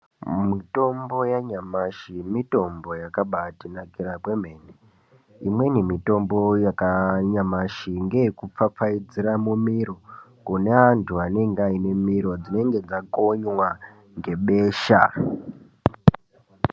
Mitombo yanyamashi mitombo yakabaa tinakira kwemene. Imweni mitombo yanyamashi ngeye kupfapfaidzira mumiro, kune anthu anenge aine miro dzinenge dzakonywa ngebesha.